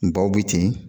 Baw bɛ ten